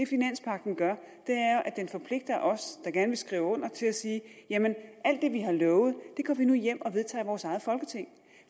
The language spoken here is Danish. finanspagten gør er at den forpligter os der gerne vil skrive under til at sige alt det vi har lovet går vi nu hjem og vedtager i vores eget folketing